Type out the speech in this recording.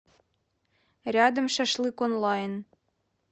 рядом шашлык онлайн